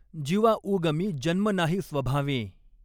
जिवा ऊगमी जन्म नाही स्वभावें।